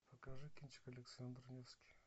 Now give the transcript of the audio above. покажи кинчик александр невский